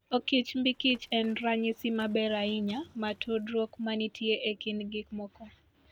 Okichmbkich en ranyisi maber ahinya mar tudruok ma nitie e kind gik moko.